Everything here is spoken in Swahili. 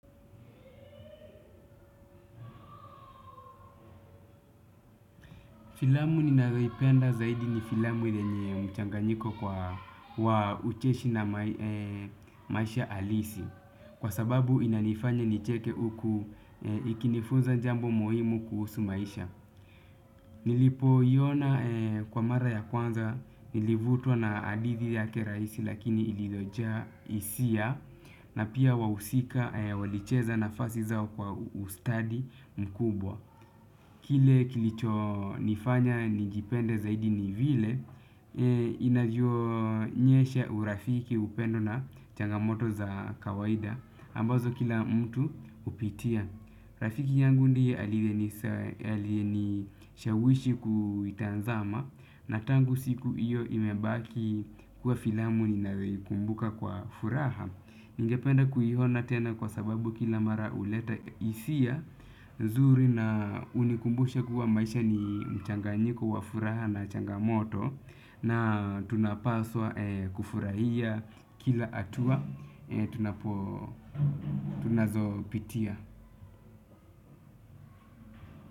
Filamu ninayoipenda zaidi ni filamu yenye mchanganyiko kwa ucheshi na maisha halisi kwa sababu inanifanya nicheke huku ikinifunza jambo muhimu kuhusu maisha. Nilipoiona kwa mara ya kwanza nilivutwa na hadithi yake rahisi lakini iliyojaa hisia. Na pia wahusika walicheza nafasi zao kwa ustadi mkubwa. Kile kilichonifanya nijipende zaidi ni vile inavyoonyesha urafiki upendo na changamoto za kawaida ambazo kila mtu hupitia. Rafiki yangu ndiye aliyenishawishi kuitazama, na tangu siku hiyo imebaki kuwa filamu ninayoikumbuka kwa furaha. Ningependa kuiona tena kwa sababu kila mara huleta hisia nzuri na hunikumbusha kuwa maisha ni mchanganyiko wa furaha na changamoto. Na tunapaswa kufurahia kila hatua tunazopitia.